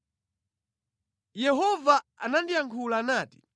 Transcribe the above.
Yehova anandiyankhula nati: